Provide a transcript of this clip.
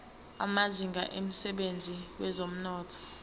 amazinga emsebenzini wezomnotho